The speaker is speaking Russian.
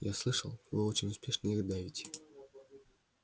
я слышал вы очень успешно их давите